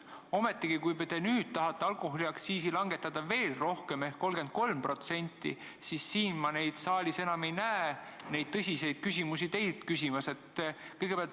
Teie tahate alkoholiaktsiisi langetada veel rohkem ehk 33%, aga ma ei näe neid inimesi siin saalis neid tõsiseid küsimusi teilt küsimas.